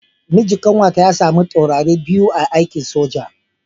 Mijin kanwata ya samu taurari biyu a aikin soja.